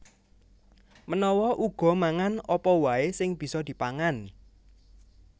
Menawa uga mangan apa waè sing bisa dipangan